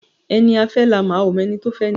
Ẹni a fẹ́ la mọ̀, a ó mọ ẹni tí ó fẹ́ni